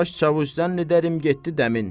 Baş çavuşdan edərim getdi dəmir.